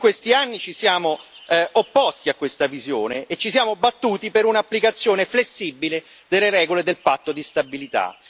Noi in questi anni ci siamo opposti a questa visione e ci siamo battuti per un'applicazione flessibile delle regole del patto di stabilità.